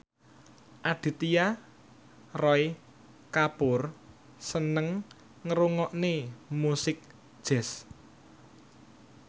Aditya Roy Kapoor seneng ngrungokne musik jazz